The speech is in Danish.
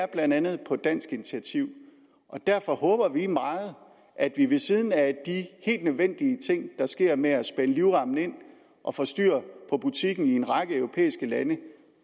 blandt andet dansk initiativ og derfor håber vi meget at vi ved siden af de helt nødvendige ting der sker med at spænde livremmen ind og få styr på butikken i en række europæiske lande